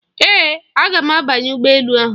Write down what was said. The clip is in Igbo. Ee, aga m abanye ụgbọ elu ahụ.